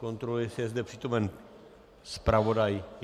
Kontroluji, jestli je zde přítomen zpravodaj.